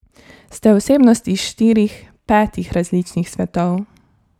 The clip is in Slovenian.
Ste osebnost iz štirih, petih različnih svetov.